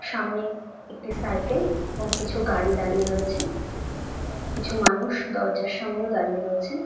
সামনে একটি সাইকেল এবং কিছু গাড়ি দাঁড়িয়ে রয়েছে । কিছু মানুষ দরজার সামনেও দাঁড়িয়ে রয়েছে।